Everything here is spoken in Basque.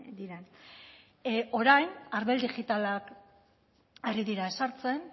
diren orain arbel digitalak ari dira sartzen